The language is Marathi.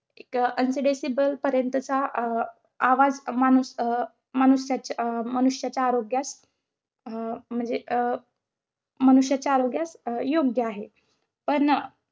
एक ऐंशी decibel पर्यंतचा अं आवाज माणूस~ अं मनुष्यची~ अं मनुष्याच्या आरोग्यास अं म्हणजे अं मनुष्याच्या आरोग्यास अं योग्य आहे. पण